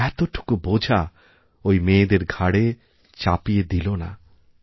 এতটুকু বোঝা ওই মেয়েদের ঘাড়ে চাপিয়ে দিল না